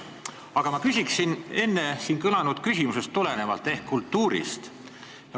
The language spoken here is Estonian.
Aga ma küsin enne kõlanud küsimusest tulenevalt kultuuri kohta.